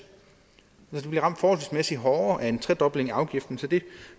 så de bliver ramt forholdsmæssigt hårdere af en tredobling af afgiften så det